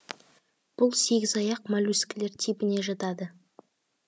бұл сегізаяқ моллюскілер типіне жатады